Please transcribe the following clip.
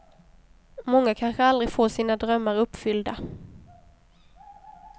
Många kanske aldrig får sina drömmar uppfyllda.